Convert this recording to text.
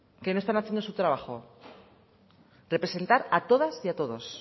que no están haciendo su trabajo representar a todas y a todos